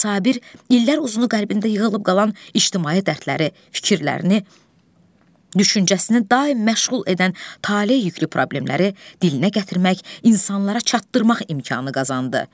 Sabir illər uzunu qəlbində yığılıb qalan ictimai dərdləri, fikirlərini, düşüncəsini daim məşğul edən taley yüklü problemləri dilinə gətirmək, insanlara çatdırmaq imkanı qazandı.